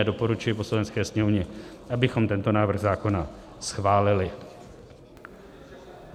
A doporučuji Poslanecké sněmovně, abychom tento návrh zákona schválili.